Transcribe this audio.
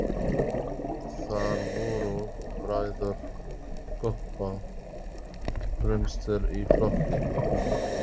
Þar voru bræður Kobba fremstir í flokki.